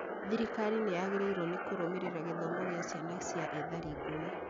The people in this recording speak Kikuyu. Thirikari nĩyagĩrĩirwo nĩkũrũmĩrĩra gĩthomo gĩa ciana cia ethari ngũĩ